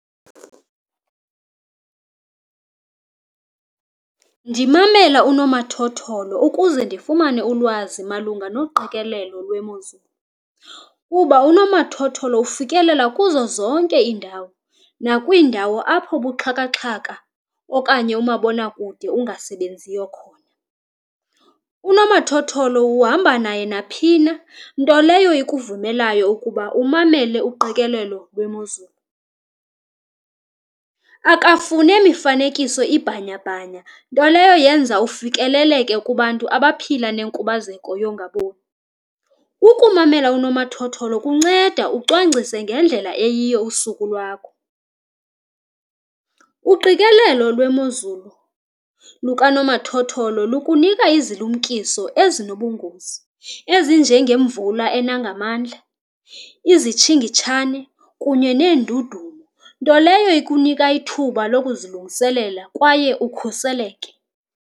Ndimamela unomathotholo ukuze ndifumane ulwazi malunga noqikelelo lwemozulu, kuba unomathotholo ufikelela kuzo zonke iindawo, nakwiindawo apho ubuxhakaxhaka okanye umabonakude ungasebenziyo khona. Unomathotholo uhamba naye naphi na, nto leyo ikuvumelayo ukuba umamele uqikelelo lwemozulu, akafune mifanekiso ibhanya-bhanya nto leyo yenza ufikeleleke kubantu abaphila nenkubazeko yongaboni. Ukumamela unomathotholo kunceda ucwangcise ngendlela eyiyo usuku lwakho. Uqikelelo lwemozulu lukanomathotholo lukunika izilumkiso ezinobungozi, ezinjengemvula ena ngamandla, izitshingitshane kunye neendudumo, nto leyo ikunika ithuba lokuzilungiselela kwaye ukhuseleke.